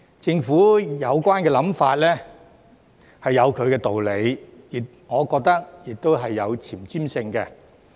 政府的有關想法是有其道理，我亦覺得是有前瞻性的。